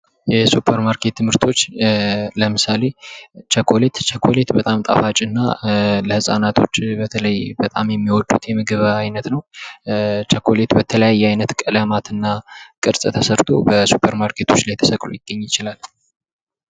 የሱፐርማርኬት ምርቶች ለምሳሌ ቸኮሌት ቸኮሌት በጣም ጣፋጭ እና ለህጻናቶች በተለይ በጣም የሚወዱት የምግብ አይነት ነው። ቸኮሌት በተለያየ ዓይነት ቀለማትና ቅርጽ ተሰርቶ በሱፐር ማርኬቶች ላይ ተሰቅሎ ሊገኝ ይችላል።